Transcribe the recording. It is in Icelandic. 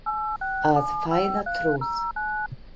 Að fæða trúð